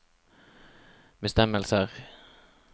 bestemmelser